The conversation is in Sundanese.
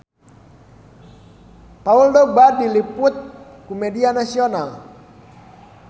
Paul Dogba diliput ku media nasional